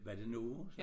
Var det Novo så